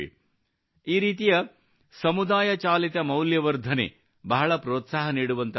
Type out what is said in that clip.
ಈ ರೀತಿಯ ಸಮುದಾಯ ಚಾಲಿತ ಮೌಲ್ಯ ವರ್ಧನೆ ಬಹಳ ಪ್ರೋತ್ಸಾಹ ನೀಡುವಂತದ್ದಾಗಿದೆ